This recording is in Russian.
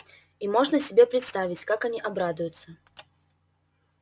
и можно себе представить как они обрадуются